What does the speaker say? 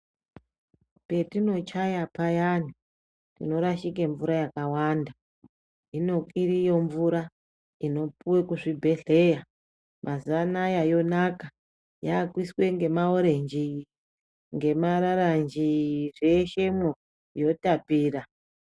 Petinochaya payani panorashike mvura yakawanda hino iriyo mvura inopuwe kuzvibhehleya mazuwa anaya yonaka yakuiswe ngemararanji ,zveshemwo yotapira.